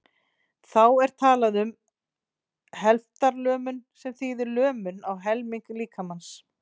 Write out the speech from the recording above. þá er talað um helftarlömun sem þýðir lömun í helming líkamans